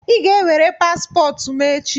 Ị ga-ewere paspọtụ m echi!